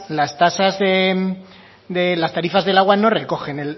las tasas de las tarifas del agua no recogen